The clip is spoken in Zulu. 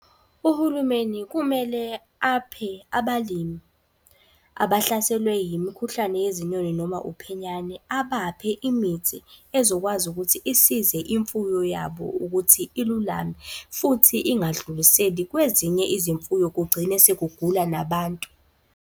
Uhulumeni kumele aphe abalimi abahlaselwe yimikhuhlane yezinyoni noma uphenyane. Abaphe imithi ezokwazi ukuthi isize imfuyo yabo ukuthi ilulame. Futhi ingadluliseli kwezinye izimfuyo kugcine sekugula nabantu.